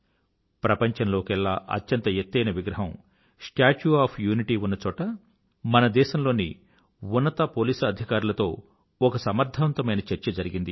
ప్రపంచంలోకెల్లా అత్యంత ఎత్తైన విగ్రహం స్టాచ్యూ ఒఎఫ్ యూనిటీ ఉన్నచోట మన దేశంలోని ఉన్నత పోలీసుఅధుకారులతో ఒక సమర్థవంతమైన చర్చ జరిగింది